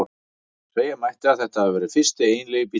Segja mætti að þetta hafi verið fyrsti eiginlegi bíllinn.